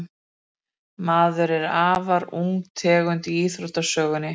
maðurinn er afar ung tegund í þróunarsögunni